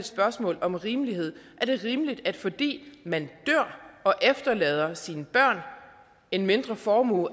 spørgsmål om rimelighed er det rimeligt at fordi man dør og efterlader sine børn en mindre formue